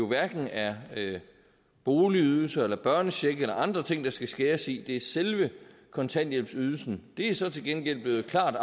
hverken er boligydelser børnecheck eller andre ting der skal skæres i det er selve kontanthjælpsydelsen det er så til gengæld klart